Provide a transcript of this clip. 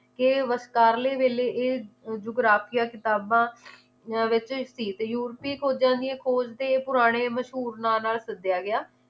ਕਿ ਵਿਚਕਾਰਲੇ ਵੇਲੇ ਇਹ ਜੁਗਰਾਕਿਆ ਕਿਤਾਬਾਂ ਤੇ ਯੂਰਪੀ ਖੋਜਾਂ ਦੀਆਂ ਖੋਜ ਤੇ ਪੁਰਾਣੇ ਮਸ਼ਹੂਰ ਨਾਂ ਨਾਲ ਸੱਦਿਆ ਗਿਆ